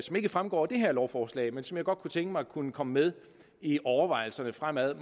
ikke fremgår af det her lovforslag men som jeg godt kunne tænke mig kunne komme med i overvejelserne frem